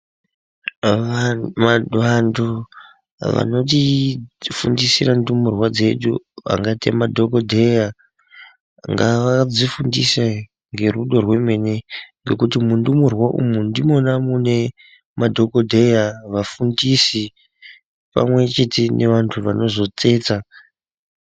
Vaa aaa vantu vanoti fundisire ndumurwa dzedu vangate madhokodheya ngavadzifundise ngerudo rwemene ngekuti mundumurwa umu ndimwona mune madhokodheya vafundisi pamwe chete nevantu vanozotsetsa.